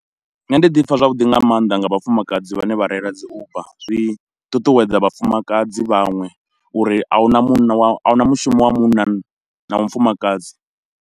Nṋe ndi ḓi pfha zwavhuḓi nga mannḓa nga vhafumakadzi vhane vha reila dzi Uber, zwi ṱuṱuwedza vhafumakadzi vhaṅwe uri ahuna munna wa ahuna mushumo wa munna na wa mufumakadzi.